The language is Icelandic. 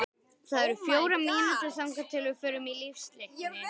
Látinna minnst.